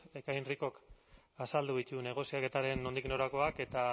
ekain ricok azaldu ditu negoziaketaren nondik norakoak eta